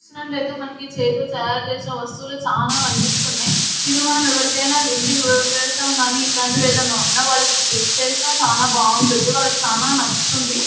చూసినట్లయితే మనకి చేయితో తయారు చేసిన వస్తువులు చాలా కన్పిస్తున్నాయ్. ఇవి మనం ఎవరికైనా ఇంటికి గృహప్రవేశం గాని ఇలాంటివి ఏదైనా ఉన్నవాళ్లకి గిఫ్ట్ వేసిన చేసిన చానా బాగుంటుంది. వాళ్ళకి చానా నచ్చుతుంది. .